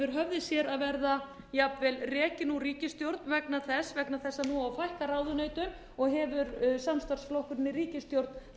höfði sér að verða jafnvel rekinn úr ríkisstjórn vegna þess að nú á að fækka ráðuneytum og hefur samstarfsflokkurinn í ríkisstjórn